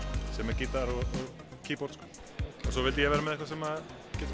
sem er gítar og keyboard svo vildi ég vera með eitthvað sem